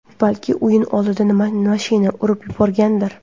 Balki, o‘yin oldidan mashina urib yuborgandir?